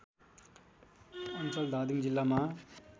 अञ्चल धादिङ जिल्लामा